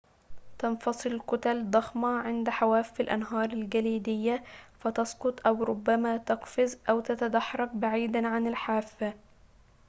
تنفصل كتل ضخمة عند حواف الأنهار الجليدية فتسقط أو ربما تقفز أو تتدحرج بعيدًا عن الحافة